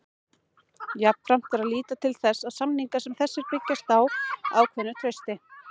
Jafnframt þarf að líta til þess að samningar sem þessir byggjast á ákveðnu trausti.